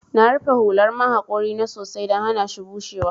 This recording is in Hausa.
Na rufe hular man haƙori na sosai don hanashi bushewa.